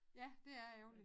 Ja det er ærgerligt